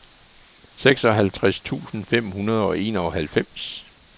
seksoghalvtreds tusind fem hundrede og enoghalvfems